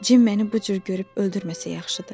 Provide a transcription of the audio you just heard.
Cim məni bu cür görüb öldürməsə yaxşıdır.